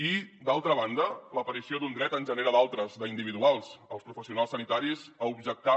i d’altra banda l’aparició d’un dret en genera d’altres d’individuals als professionals sanitaris a objectar